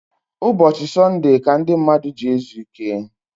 Ụbọchi Sunude ka ndi mmadu ji ezu ike